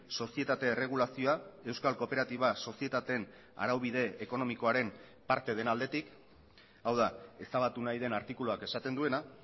sozietate erregulazioa euskal kooperatiba sozietateen araubide ekonomikoaren parte den aldetik hau da ezabatu nahi den artikuluak esaten duena